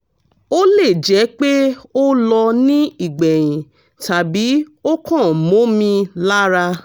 ó lè jẹ́ pé ó lọ ní ìgbẹ̀yìn tàbí o kan momi lara